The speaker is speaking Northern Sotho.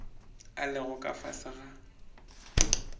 a lego ka fase ga